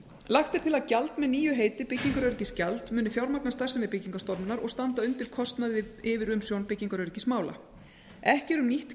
lagt er til að gjald með nýju heiti byggingaröryggisgjald muni fjármagna starfsemi byggingarstofnunar og standa undir kostnaði við yfirumsjón byggingaröryggismála ekki er um nýtt